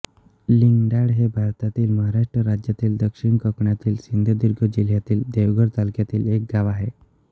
लिंगडाळ हे भारतातील महाराष्ट्र राज्यातील दक्षिण कोकणातील सिंधुदुर्ग जिल्ह्यातील देवगड तालुक्यातील एक गाव आहे